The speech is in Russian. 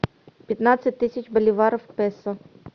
пятнадцать тысяч боливаров в песо